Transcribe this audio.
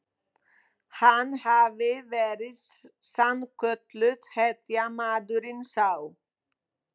Hann hafi verið sannkölluð hetja, maðurinn sá.